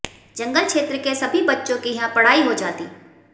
जंगल क्षेत्र के सभी बच्चों की यहां पढ़ाई हो जाती